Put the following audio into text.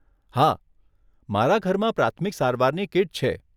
હા, મારા ઘરમાં પ્રાથમિક સારવારની કીટ છે.